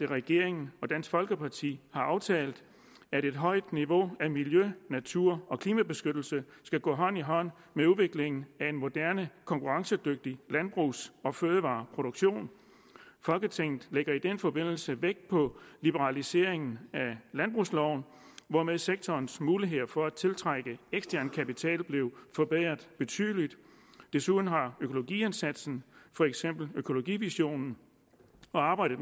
regeringen og dansk folkeparti har aftalt at et højt niveau af miljø natur og klimabeskyttelse skal gå hånd i hånd med udviklingen af en moderne og konkurrencedygtig landbrugs og fødevareproduktion folketinget lægger i den forbindelse vægt på liberaliseringen af landbrugsloven hvormed sektorens muligheder for at tiltrække ekstern kapital blev forbedret betydeligt desuden har økologiindsatsen for eksempel økologivisionen og arbejdet